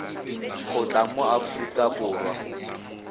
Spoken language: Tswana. go tla mo aforika borwa